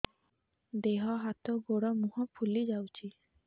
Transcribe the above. ଦେହ ହାତ ଗୋଡୋ ମୁହଁ ଫୁଲି ଯାଉଛି